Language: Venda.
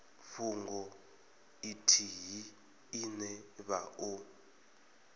fhungo ithihi ine vha o